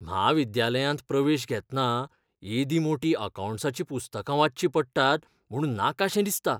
म्हाविद्यालयांत प्रवेश घेतना एदीं मोटीं अकौंटन्सीचीं पुस्तकां वाचचीं पडटात म्हूण नाकाशें दिसता.